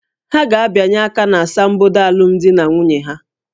Ha ga-abịanye aka na asambodo alụmdi na nwunye ha